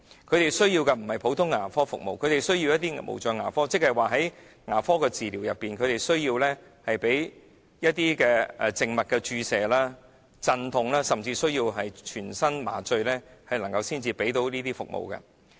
他們需要的並不是普通的牙科服務，他們是需要無障牙科服務，即是說在牙科的治療當中，他們須接受靜脈注射、鎮痛，甚至需要全身麻醉，牙醫才能為他們提供牙科服務。